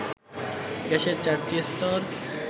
গ্যাসের ৪টি স্তর